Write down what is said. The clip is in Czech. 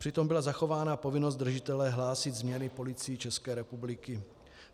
Přitom byla zachována povinnost držitele hlásit změny policii České republiky.